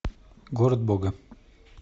город бога